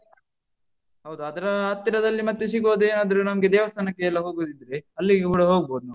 ಹೌದು ಅದ್ರ ಹತ್ತಿರದಲ್ಲಿ ಮತ್ತೆ ಸಿಗೋದ್ ಏನಾದ್ರು ನಮ್ಗೆ ದೇವಸ್ಥಾನಕೆಲ್ಲ ಹೋಗುದಿದ್ರೆ ಅಲ್ಲಿಗೆ ಕೂಡ ಹೋಗ್ಬೋದ್ ನಾವು.